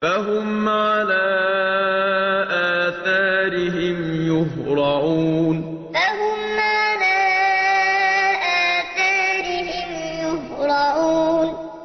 فَهُمْ عَلَىٰ آثَارِهِمْ يُهْرَعُونَ فَهُمْ عَلَىٰ آثَارِهِمْ يُهْرَعُونَ